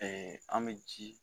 Ɛɛ an be ji